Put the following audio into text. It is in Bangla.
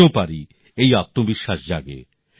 আমিও পারি এই আত্মবিশ্বাস জাগে